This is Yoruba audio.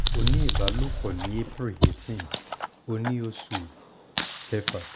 o ní ìbálòpọ̀ ní april eighteen o ní oṣù kẹfà